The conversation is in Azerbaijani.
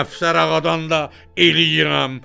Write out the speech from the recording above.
Əfsər ağadan da eləyirəm.